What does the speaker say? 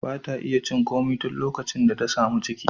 Ba ta iya cin komai tun likacin da ta sami ciki.